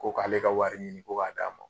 Ko k'ale ka wari ɲini ko k'a d'a ma.